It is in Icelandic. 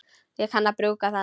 Ég kann að brúka hann.